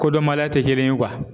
Kodɔnbaliya tɛ kelen ye